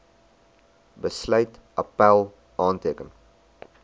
besluit appèl aanteken